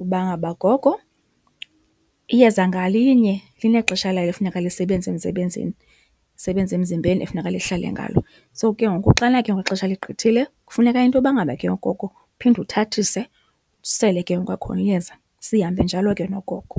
uba ngaba gogo iyeza ngalinye linexesha layo ekufuneka lisebenze emsebenzini, lisebenze emzimbeni ekufuneka lihlale ngalo. So ke ngoku xana ke ngoku ixesha ligqithile kufuneka intoba ngaba ke ngoku uphinde uthathise usele ke ngoku kwakhona iyeza, sihambe njalo ke nogogo.